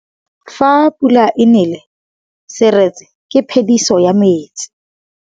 Fa pula e nelê serêtsê ke phêdisô ya metsi.